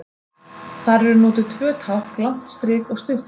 Þar eru notuð tvö tákn, langt strik og stutt strik.